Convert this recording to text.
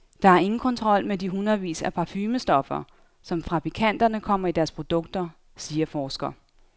Der er ingen kontrol med de hundredvis af parfumestoffer, som fabrikanterne kommer i deres produkter, siger forsker.